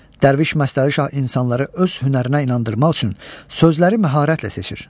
Dərviş Məstəri şah insanları öz hünərinə inandırmaq üçün sözləri məharətlə seçir.